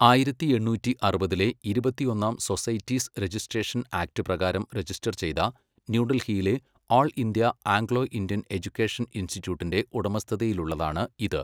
ആയിരത്തി എണ്ണൂറ്റി അറുപതിലെ ഇരുപത്തൊന്നാം സൊസൈറ്റീസ് രജിസ്ട്രേഷൻ ആക്ട് പ്രകാരം രജിസ്റ്റർ ചെയ്ത ന്യൂഡൽഹിയിലെ all India Anglo Indian education ഇൻസ്റ്റിറ്റ്യൂട്ടിന്റെ ഉടമസ്ഥതയിലുള്ളതാണ് ഇത്.